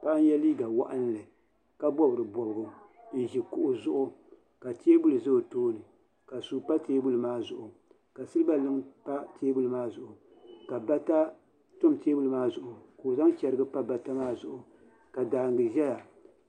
Paɣa n yɛ liiga waɣanli ka bob di bobga n ʒi kuɣu zuɣu ka teebuli ʒɛ o tooni ka suu pa teebuli maa zuɣu ka silba luŋ pa teebuli maa zuɣu ka bata tam teebuli maa zuɣu ka o zaŋ chɛrigi pa bata maa zuɣu ka daangi ʒɛya